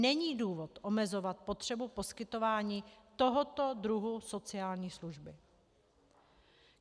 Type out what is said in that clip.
Není důvod omezovat potřebu poskytování tohoto druhu sociální služby.